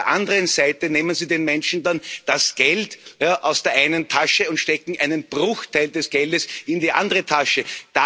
Und auf der anderen Seite nehmen Sie den Menschen dann das Geld aus der einen Tasche und stecken einen Bruchteil des Geldes in die andere Tasche.